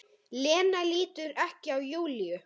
Lena lítur ekki á Júlíu.